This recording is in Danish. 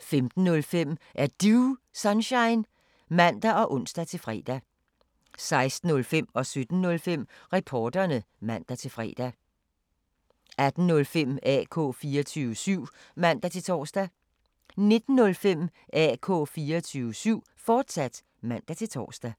15:05: Er Du Sunshine? (man og ons-fre) 16:05: Reporterne (man-fre) 17:05: Reporterne (man-fre) 18:05: AK 24syv (man-tor) 19:05: AK 24syv, fortsat (man-tor)